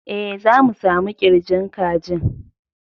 E, za mu samu ƙirjin kajin.